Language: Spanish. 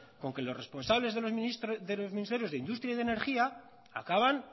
con que los responsables de los ministerios de industria y de energía acaban